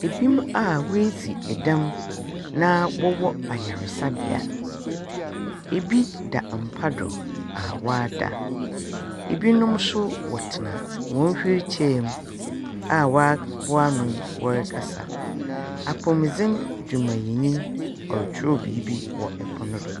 Ebi a wedzi edɛm na wɔwɔ ayaresabea. Ebi da mpa do a wada. Ebinom nso wɔtsena wɔn hwiilkyɛɛ mu a waboa ano wɔrekasa. Apɔwmudzen dwumayɛ nyi ɔretworɔw biribi wɔ ɛpon do.